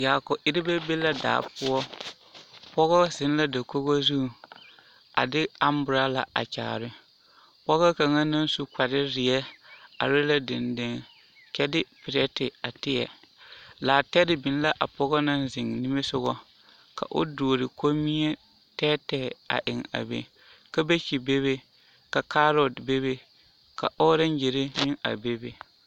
Yaako erebɛ be la daa poɔ, pɔgɔ zeŋ la dakogo zuŋ a de amborala a kyaare, pɔgɔ kaŋa naŋ su kpare zeɛ are la dendeŋe kyɛ de pileti a tēɛ, laatɛre biŋ la a pɔgɔ naŋ zeŋ nimisogɔ ka o duori kommie tɛɛtɛɛ a eŋ a be, kabeekyi bebe ka kaarɔte bebe ka ɔɔreŋgyiri aŋ a bebe